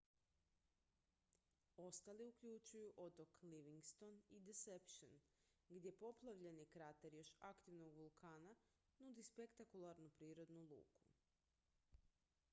ostali uključuju otok livingston i deception gdje poplavljeni krater još aktivnog vulkana nudi spektakularnu prirodnu luku